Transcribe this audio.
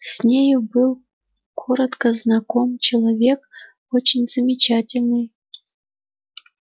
с нею был коротко знаком человек очень замечательный